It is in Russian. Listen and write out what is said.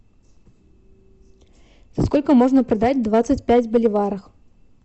сколько можно продать двадцать пять боливарах